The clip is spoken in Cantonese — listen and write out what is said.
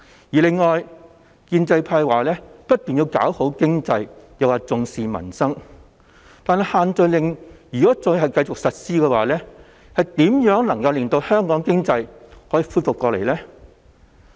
此外，建制派不斷地表示要振興經濟和重視民生，但如果限聚令繼續實施，那香港的經濟如何能恢復過來？